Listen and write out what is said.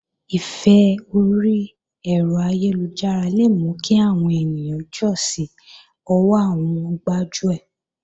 Ìfẹ́ orí ẹ̀rọ ayélujára le mú kí àwọn ènìyàn jọ́ sí ọwọ́ àwọn gbájúẹ̀